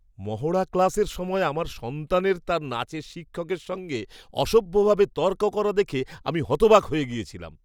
মহড়া ক্লাসের সময় আমার সন্তানের তার নাচের শিক্ষকের সঙ্গে অসভ্য ভাবে তর্ক করা দেখে আমি হতবাক হয়ে গেছিলাম!